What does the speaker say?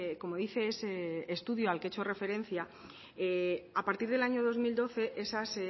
como dice ese estudio al que he hecho referencia a partir del año dos mil doce esas